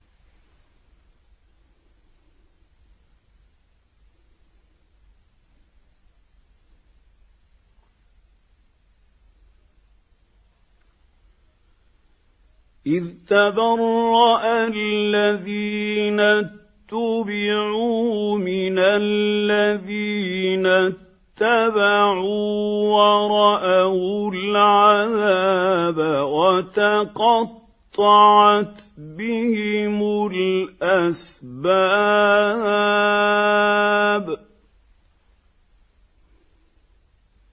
إِذْ تَبَرَّأَ الَّذِينَ اتُّبِعُوا مِنَ الَّذِينَ اتَّبَعُوا وَرَأَوُا الْعَذَابَ وَتَقَطَّعَتْ بِهِمُ الْأَسْبَابُ